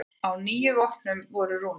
Á níu vopnum voru rúnir.